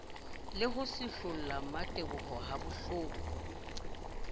le ho seholla mmateboho habohloko